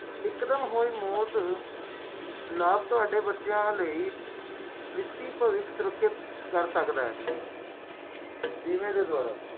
ਸੋਗ ਦਾ ਸਾਮਣਾ ਵੀ ਕਰ ਸਕਦੇ ਹੋ